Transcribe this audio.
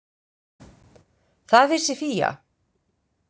Það vissi Fía.